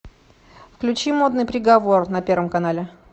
включи модный приговор на первом канале